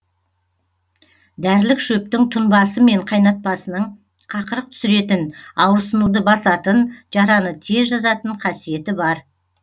дәрілік шөптің тұнбасы мен қайнатпасының қақырық түсіретін ауырсынуды басатын жараны тез жазатын қасиеті бар